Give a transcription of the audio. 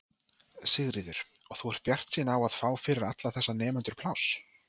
Sigríður: Og þú ert bjartsýn á að fá fyrir alla þessa nemendur pláss?